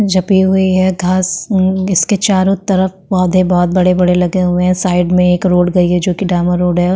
जबी हुई है धस अ इसके चारो तरफ पौधे बहुत बड़े बड़े लगे हुए है साइड मे एक रोड गई है जो की डाम्बर रोड है।